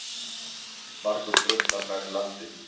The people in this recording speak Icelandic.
Margur drukknar nærri landi.